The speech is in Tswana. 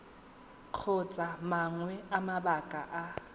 kgotsa mangwe a mabaka a